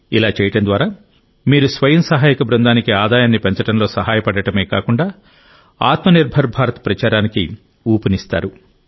ఇలా చేయడం ద్వారా మీరు స్వయం సహాయక బృందానికి ఆదాయాన్ని పెంచడంలో సహాయపడటమే కాకుండా ఆత్మ నిర్భర్ భారత్ ప్రచారానికి ఊపునిస్తారు